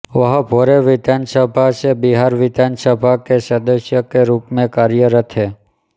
वह भोरे विधानसभा से बिहार विधान सभा के सदस्य के रूप में कार्यरत हैं